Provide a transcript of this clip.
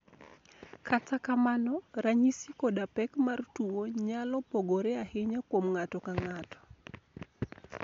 Kata kamano, ranyisi koda pek mar tuwo nyalo pogore ahinya kuom ng'ato ka ng'ato.